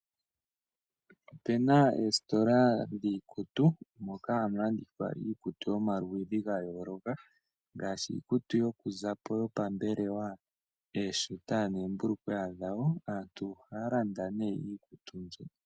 Opuna oositola dhiikutu moka hamu landithwa iikutu yomaludhi ga yooloka ngaashi iikutu yokuzapo yopambelwa, ooshita noombulukweya dhayo. Aantu ohaya landa nee iikutu mbyoka.